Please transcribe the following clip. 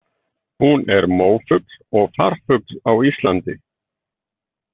Hún er mófugl og farfugl á Íslandi.